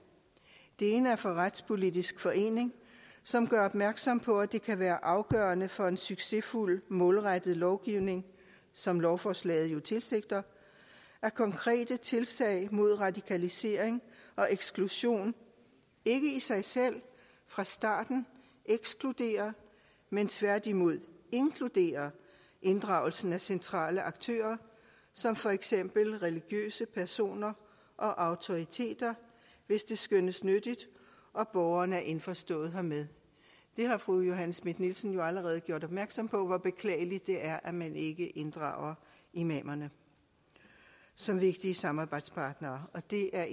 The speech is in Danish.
det ene er fra dansk retspolitisk forening som gør opmærksom på at det kan være afgørende for en succesfuld målrettet lovgivning som lovforslaget jo tilsigter at konkrete tiltag mod radikalisering og eksklusion ikke i sig selv fra starten ekskluderer men tværtimod inkluderer inddragelsen af centrale aktører som for eksempel religiøse personer og autoriteter hvis det skønnes nyttigt og borgeren er indforstået hermed fru johanne schmidt nielsen har jo allerede gjort opmærksom på hvor beklageligt det er at man ikke inddrager imamerne som vigtige samarbejdspartnere og det er